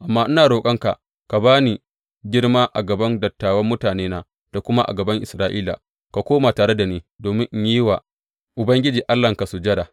Amma ina roƙonka ka ba ni girma a gaban dattawan mutanena da kuma a gaban Isra’ila, ka koma tare da ni domin in yi wa Ubangiji Allahnka sujada.